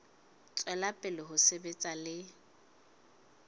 tswela pele ho sebetsa le